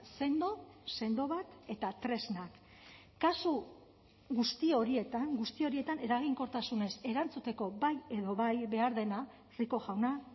sendo sendo bat eta tresnak kasu guzti horietan guzti horietan eraginkortasunez erantzuteko bai edo bai behar dena rico jauna